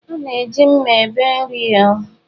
A na-eji mma ebe nri.